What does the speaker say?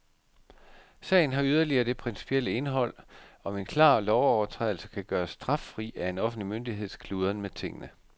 Sagen har yderligere det principielle indhold, om en klar lovovertrædelse kan gøres straffri af en offentlig myndigheds kludren med tingene.